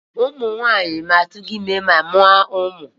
Ụmụ nwanyị na-atụrụ ime ma mụọ umu.